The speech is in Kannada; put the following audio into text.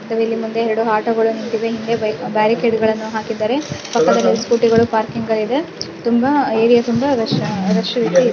ಮತ್ತೆ ಇಲ್ಲಿ ಮುಂದಷ್ಟೇ ಎರಡು ಆಟೋ ಗಳು ನಿಂತಿವೆ ಹಿಂದೆ ಬಾಯ್ ಬಾರಿಕಟ್ಟೆ ಗಳನ್ನೂ ಹಾಕಿದ್ದಾರೆ. ಪಕ್ಕದಲ್ಲಿ ಆಕಡೆ ಸ್ಕೂಟಿ ಗಳು ಪಾರ್ಕಿಂಗ್ ದಲ್ಲಿ ಇವೆ. ತುಂಬ ಏರಿಯಾ ತುಂಬ ರಶ್ ರಶ್ ಇದೆ --